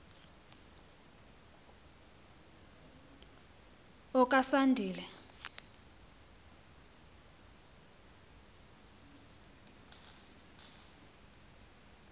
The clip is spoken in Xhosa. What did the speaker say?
okasandile